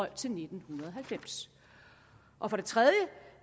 til nitten halvfems og for det tredje